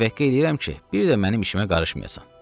Təvəqqə edirəm ki, bir də mənim işimə qarışmayasan.